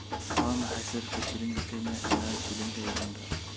Waa maxay sarifka Shilinka Kenya ilaa Shilinka Uganda?